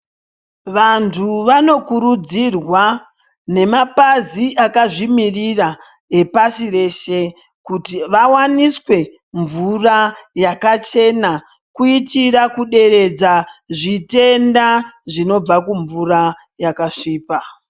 Vantu vanokurudzirwa ngemapazi akazvimiririra epashi reshe kuti vawaniswe mvura yakachena kuitira kideredza zvitenda zvinobva kumvura yakasvipa.